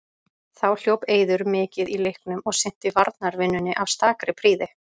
Þá hljóp Eiður mikið í leiknum og sinnti varnarvinnunni af stakri prýði.